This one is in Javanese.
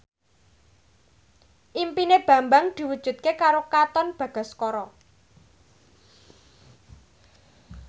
impine Bambang diwujudke karo Katon Bagaskara